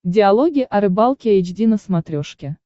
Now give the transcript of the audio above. диалоги о рыбалке эйч ди на смотрешке